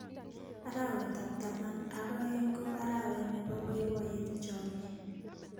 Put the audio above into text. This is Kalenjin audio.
Arawetab taman ak oeng ko arawe ne bo boiboye chomye.